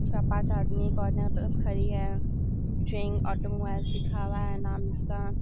चार पाँच आदमी एक पे खड़ी है। ट्रैन ऑटोमोबाइल लिखा हुआ है नाम इसका।